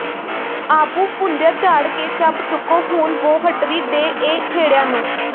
ਆਭੂ ਭੁਣਦਿਆਂ ਝਾੜ ਕੇ ਚੱਬ ਚੁੱਕੋਂ ਹੁਣ ਵੌਹਟੜੀ ਦੇਹ ਇਹ ਖੇੜਿਆਂ ਨੂੰ